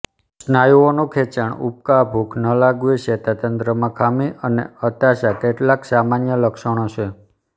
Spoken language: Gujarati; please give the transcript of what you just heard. સ્નાયુઓનું ખેંચાણ ઉબકા ભૂખ ન લાગવી ચેતાતંત્રમાં ખામી અને હતાશા કેટલાંક સામાન્ય લક્ષણો છે